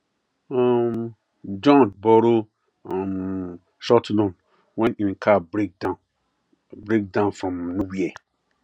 um john borrow um short loan when him car break down break down from nowhere